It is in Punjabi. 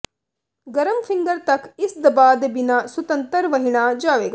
ਗਰਮ ਫਿੰਗਰ ਤੱਕ ਇਸ ਦਬਾਅ ਦੇ ਬਿਨਾ ਸੁਤੰਤਰ ਵਹਿਣਾ ਜਾਵੇਗਾ